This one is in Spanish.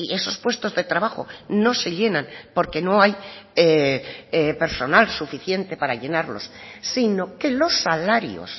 esos puestos de trabajo no se llenan porque no hay personal suficiente para llenarlos si no que los salarios